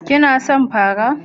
Kana son pafa?